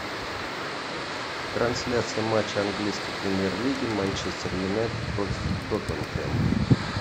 трансляция матча английской премьер лиги манчестер юнайтед против тоттенхэма